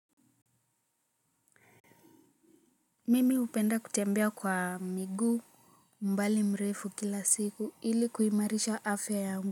Mimi hupenda kutembea kwa miguu mbali mrefu kila siku hili kuimarisha afya yangu.